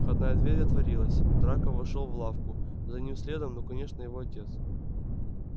входная дверь отворилась драко вошёл в лавку за ним следом ну конечно его отец